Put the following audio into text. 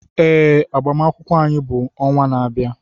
Ee, agbamakwụkwọ anyị bụ ọnwa na-abịa.